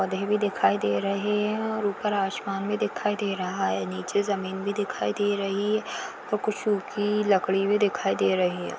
पौधे भी दिखाई दे रहे है और ऊपर आसमान भी दिखाई दे रहा है नीचे जमीन भी दिखाई दे रही है और कुछ सुखी लकड़ी भी दिखाई दे रही है।